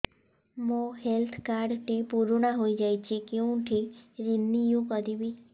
ମୋ health card ଟି ପୁରୁଣା ହେଇଯାଇଛି କେଉଁଠି ରିନିଉ କରିବି